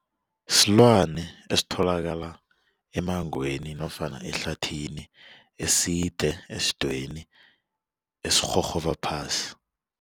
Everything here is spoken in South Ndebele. Silwana esitholakala emmangweni nofana ehlathini eside esidweyini esirhurhuba phasi.